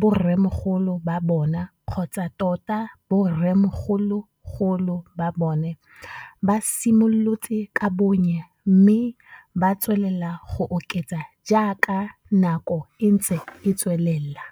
borremogolo ba bona kgotsa tota borremogologolo ba bona ba simolotse ka bonnye mme ba tswelela go oketsa jaaka nako e ntse e tswelela.